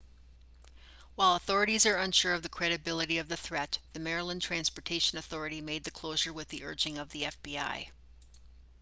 while authorities are unsure of the credibility of the threat the maryland transportaion authority made the closure with the urging of the fbi